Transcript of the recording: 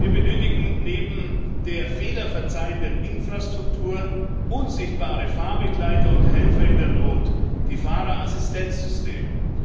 Wir benötigen neben der Fehler verzeihenden Infrastruktur unsichtbare Fahrbegleiter und Helfer in der Not Die Fahrerassistenzsysteme.